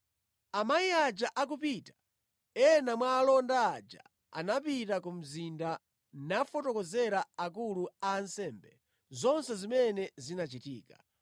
Amayi aja akupita, ena mwa alonda aja anapita ku mzinda nafotokozera akulu a ansembe zonse zimene zinachitika.